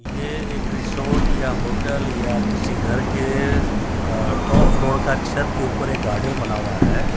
ये एक रेसॉर्ट या होटल या किसी घर के अ टॉप फ्लोर का छत के ऊपर एक गार्डन बना हुआ है।